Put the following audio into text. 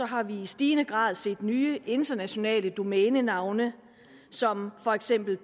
har vi i stigende grad set nye internationale domænenavne som for eksempel